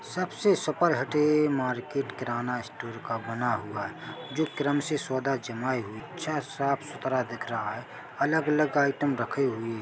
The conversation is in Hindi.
सबसे सुपर हटे मार्केट है किराना स्टोर का बना हुआ है जो क्रम से सौदा जमाए हुए है अच्छा साफ सुथरा दिख रहा है अलग अलग आइटम रखे हुए है।